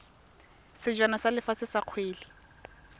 sejana sa lefatshe sa kgwele